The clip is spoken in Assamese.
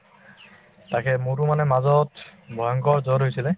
তাকে মোৰো মানে মাজত ভয়ংকৰ জ্বৰ হৈছিলে